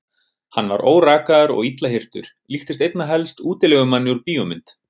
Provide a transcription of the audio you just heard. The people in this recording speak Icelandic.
Hann var órakaður og illa hirtur, líktist einna helst útilegumanni úr bíómynd.